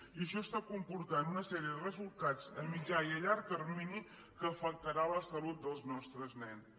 i això està comportant una sèrie de resultats a mitjà i a llarg termini que afectarà la salut dels nostres nens